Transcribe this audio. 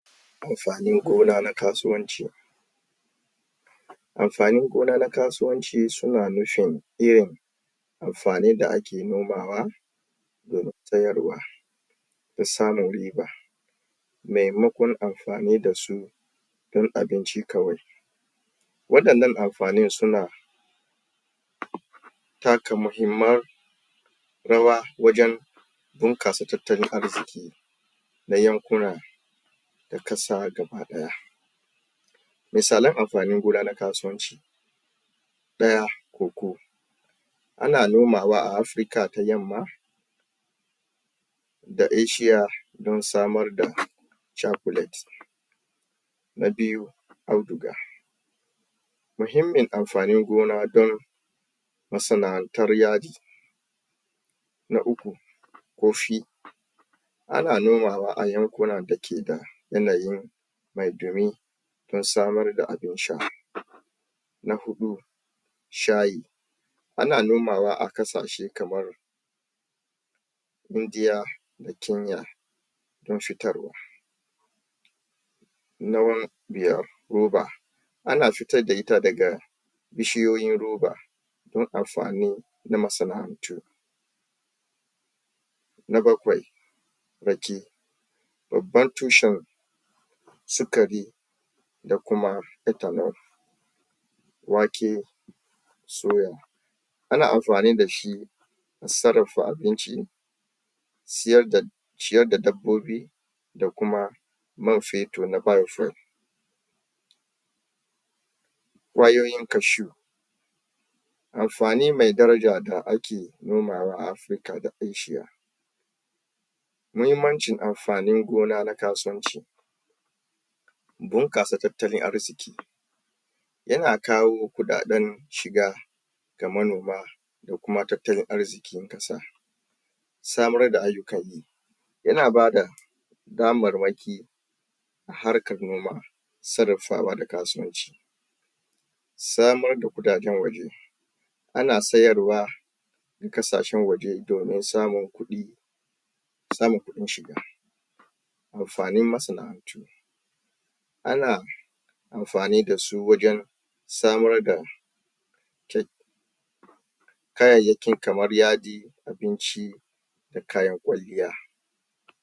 Amfanin gona nan kasuwanci. amfanin gona ka suwanci suna nufin yin amfani da ake nomawa domin sayarwa da samun riba maimakon amfani da su don abinci kawai waɗannan amfanin suna? taka muhimman rawa wajen bunƙasa tattalin arziƙi na yankuna da ƙasa gaba ɗaya misalan amfanin gona na kasuwanci ɗaya, Koko ana nomawa a Africa ta yamma da Eshiya don samar da Cakulet, na biyu Auduga muhimmin amfanin gona don masana'antar yadi, na uku, Kofi, anan nomawa a yankunan da ke da yanayin mai ɗumi don samar da abin sha, na huɗu, Shayi ana nomawa a ƙasashe kamar: Indiya da Kenya don fitarwa. na biyar: Roba, ana fitar da ita daga bishiyoyin roba don amfanin na masana'antu. Na bakwai: Rake, babban tushen sukari da kuma?????? wake soya: ana amfani da shi sarrafa abinci ciyar da da dabbabobi da kuma man fetur na?????? Kwayoyin kashu amfani mai daraja da ake nomawa a Africa da Eshiya. Muhimmancin amfanin gona na kasuwanci bunƙasa tattalin arziƙi yana kawo kuɗaɗen shiga ga manoma da kuma tattalin arziƙin ƙasa, samar da ayyukan yi yana ba da damarmaki a harkar noma sarrafawa da kasuwanci samar da kuɗaɗen?? ana sayarwa a ƙasashen waje domin samun kuɗi samun kuɗin shiga amfanin masana'antu ana amfani da su wajen samar da? kayayyaki kamar yadi abinci da kayan kwalliya